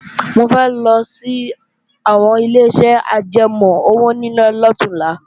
Mo fẹ́ lọ sí àwọn Ileṣẹ́ ajẹmọ́ owóníná lọ̀túnla